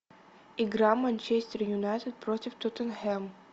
игра манчестер юнайтед против тоттенхэм